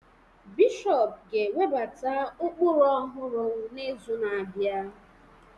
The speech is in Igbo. Bishọp ga-ewebata ụkpụrụ ọhụrụ n'izu na-abịa